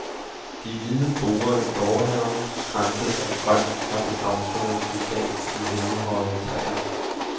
De hvide borde i gårdhaven kranses af grønt, fra det blomstrende buskads til himmelhøje træer.